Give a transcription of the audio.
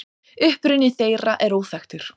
Uppruni þeirra er óþekktur.